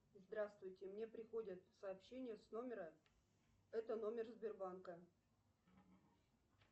здравствуйте мне приходят сообщения с номера это номер сбербанка